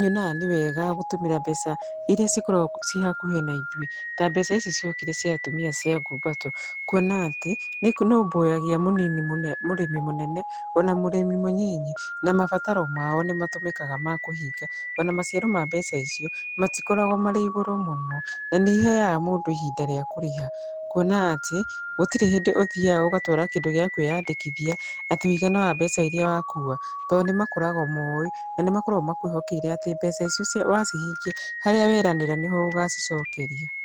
nyonaga nĩwega gũtũmĩra mbeca irĩa cikoragwo ci hakuhĩ naithuĩ. Ta mbeca ici ciokire cia atumia cia ngumbato, kuona atĩ nĩinũmbũyagia mũnini mũrĩmi mũnene ona mũrĩmi mũnyinyi na mabataro mao nĩmatũmĩkaga ma kũhinga. Ona maciaro ma mbeca icio matikoragwo marĩ igũrũ mũno. Na nĩ iheaga mũndũ ihinda rĩa kũrĩha. Kuona atĩ gũtirĩ hĩndĩ ũthiaga ũgatwara kĩndũ gĩa kwĩyandĩkithia atĩ ũigana wa mbeca iria wakua. To nĩmakoragwo moĩ, na nĩmakoragwo makwĩhokeire atĩ mbeca icio wacihingia harĩa weranĩra nĩho ũgacicokeria.